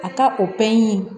A ka o pɛrili